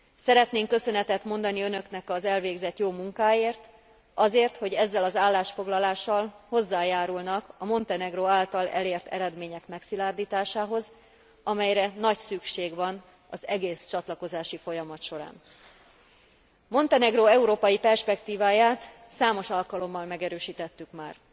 Szeretnénk köszönetet mondani Önöknek az elvégzett jó munkáért, azért, hogy ezzel az állásfoglalással hozzájárulnak a Montenegró által elért eredmények megszilárdításához, amelyre nagy szükség van az egész csatlakozási folyamat során. Montenegró európai perspektíváját számos alkalommal megerősítettük már.